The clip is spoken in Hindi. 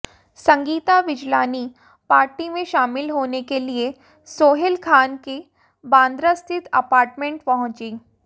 संगीता बिजलानी पार्टी में शामिल होने के लिए सोहेल खान के बांद्रा स्थित अपार्टमेंट पहुंचीं